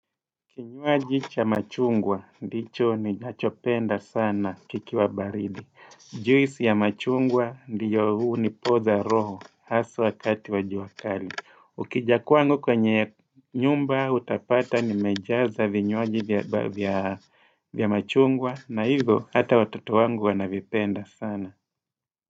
Kinywaji cha machungwa, ndicho ninachopenda sana kikiwa baridi. Juisi ya machungwa ndio hunipoza roho haswa wakati wa jua kali. Ukija kwangu kwenye nyumba utapata nimejaza vinywaji vya machungwa na hivyo hata watoto wangu wanavipenda sana.